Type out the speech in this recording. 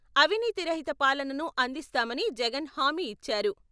అవినీతి రహిత పాలనను అందిస్తామని జగన్ హామీ ఇచ్చారు.